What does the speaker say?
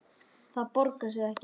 Það borgar sig ekki